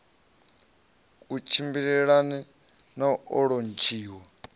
ku tshimbilelane na u lontshiwa